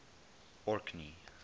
orkney